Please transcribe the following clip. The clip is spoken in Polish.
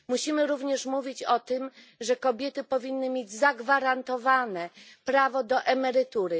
Musimy również mówić o tym, że kobiety powinny mieć zagwarantowane prawo do emerytury.